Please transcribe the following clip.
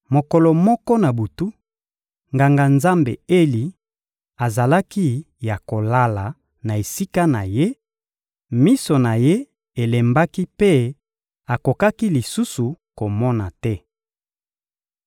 Mokolo moko na butu, Nganga-Nzambe Eli azalaki ya kolala na esika na ye; miso na ye elembaki mpe akokaki lisusu komona te.